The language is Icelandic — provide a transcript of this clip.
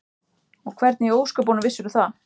Og hvernig í ósköpunum vissirðu það?